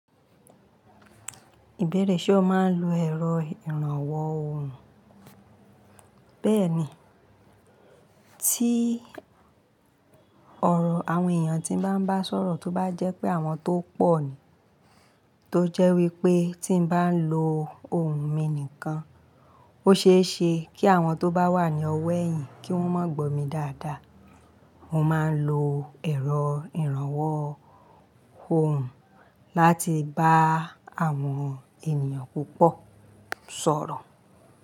Ìbéèrè ṣe o máa ń lo ẹ̀rọ ìrànwọ́ ohùn? Béèni, tí ọ̀rọ̀ àwọn èèyàn tí n bá ń bá sọ̀rọ̀ tó bá jẹ́ pé àwọn tó pọ̀ ni, tó jẹ́ wípé tí n bá ń lo ohùn mi nìkan, ó ṣeéṣe kí àwọn tó bá wà ní ọ̀wọ̀ ẹ̀yìn kí wón máa gbó mi dáadáa. Mo máa ń lo ẹ̀rọ ìrànwọ́ ohùn láti bá àwọn ènìyàn púpọ̀ sọ̀rọ̀